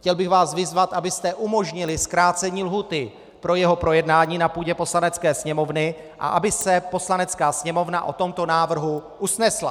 Chtěl bych vás vyzvat, abyste umožnili zkrácení lhůty pro jeho projednání na půdě Poslanecké sněmovny a aby se Poslanecká sněmovna o tomto návrhu usnesla.